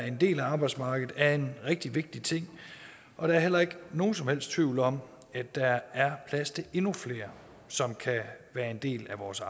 en del af arbejdsmarkedet er en rigtig vigtig ting og der er heller ikke nogen som helst tvivl om at der er plads til endnu flere som kan være en del af vores